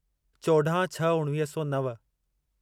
चोॾाहं छह उणिवीह सौ नव